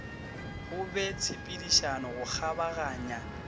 go be tshepedišano go kgabaganya